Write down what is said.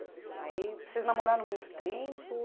aí Vocês namoraram muito tempo?